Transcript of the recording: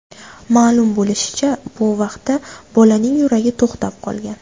Ma’lum bo‘lishicha, bu vaqtda bolaning yuragi to‘xtab qolgan.